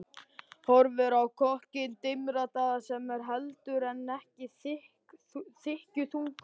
Horfir á kokkinn dimmraddaða sem er heldur en ekki þykkjuþungur.